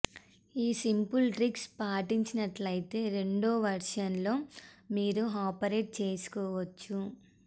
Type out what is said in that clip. ఈ simple tricks పాటించినట్లయితే రెండు వెర్షన్లలో మీరు ఆపరేట్ చేసుకోవచ్చు